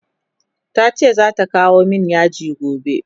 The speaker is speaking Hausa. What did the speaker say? tace zata kawo min yaji gobe